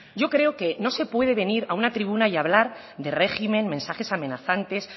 yo creo que no se puede venir a una tribuna y hablar de régimen mensajes amenazantes